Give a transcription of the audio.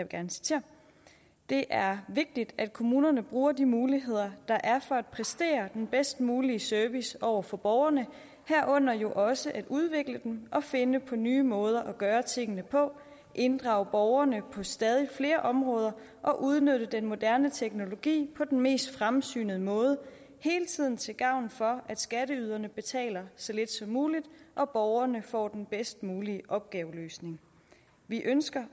gerne citere det er vigtigt at kommunerne bruger de muligheder der er for at præstere den bedst mulige service over for borgerne herunder jo også at udvikle den og finde på nye måder at gøre tingene på inddrage borgerne på stadig flere områder og udnytte den moderne teknologi på den mest fremsynede måde hele tiden til gavn for at skatteyderne betaler så lidt som muligt og borgerne får den bedst mulige opgaveløsning vi ønsker